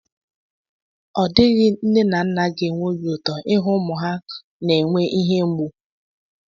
Ọ dịghị nne na nna ga-enwe obi ụtọ ịhụ ụmụ ha na-enwe ihe mgbu.